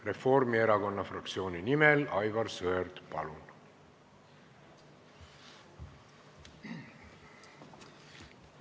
Reformierakonna fraktsiooni nimel Aivar Sõerd, palun!